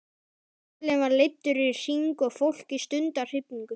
Folinn var leiddur í hring og fólkið stundi af hrifningu.